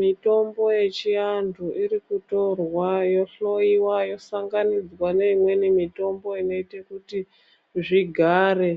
Mitombo yechivanhu iri kutorwa ,yohloiwa yosanganidzwa neimweni mitombo inoite kuti, zvigare